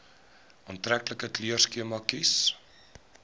aantreklike kleurskema kies